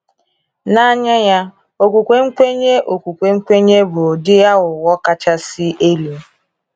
N’anya ya, okwukwe nkwenye okwukwe nkwenye bụ ụdị aghụghọ kachasị elu.